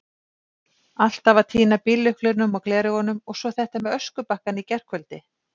Alltaf að týna bíllyklunum, og gleraugunum, og svo þetta með öskubakkann í gærkvöldi.